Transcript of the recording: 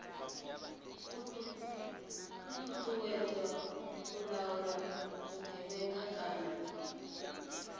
uuwedzwa u laula vhugevhenga kana